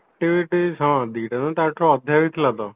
activities ହଁ ଦିଟା ନାଁ ତା ଠାରୁ ଅଧିକା ବି ଥିଲା ତ